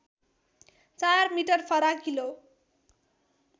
४ metre फराकिलो